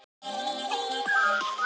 Þessir þrír piltar.